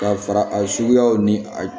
Ka fara a suguyaw ni a